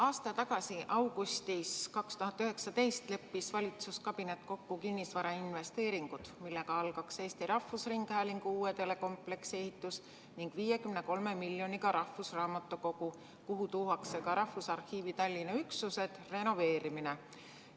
Aasta tagasi, 2019. aasta augustis leppis valitsuskabinet kokku kinnisvarainvesteeringutes, millega pidi alustatama Eesti Rahvusringhäälingu uue telekompleksi ehitust, ning 53 miljonit eurot nähti ette rahvusraamatukogu hoone, kuhu tuuakse ka Rahvusarhiivi Tallinna üksused, renoveerimiseks.